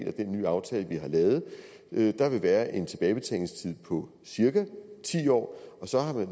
af den nye aftale vi har lavet der vil være en tilbagebetalingstid på cirka ti år og så har man